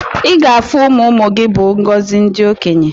Iga afu ụmụmụ gi bu ngozi ndi okenye.